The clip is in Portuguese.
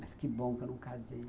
Mas que bom que eu não casei.